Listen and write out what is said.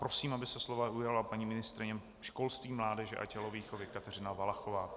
Prosím, aby se slova ujala paní ministryně školství, mládeže a tělovýchovy Kateřina Valachová.